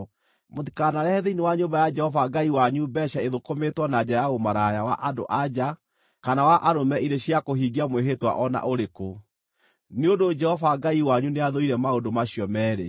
Mũtikanarehe thĩinĩ wa nyũmba ya Jehova Ngai wanyu mbeeca ithũkũmĩtwo na njĩra ya ũmaraya wa andũ-a-nja kana wa arũme irĩ cia kũhingia mwĩhĩtwa o na ũrĩkũ, nĩ ũndũ Jehova Ngai wanyu nĩathũire maũndũ macio meerĩ.